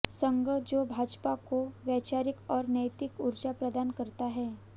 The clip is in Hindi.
संघ जो भाजपा को वैचारिक और नैतिक ऊर्जा प्रदान करता है